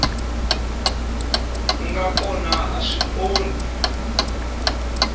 nga kona a swi onhi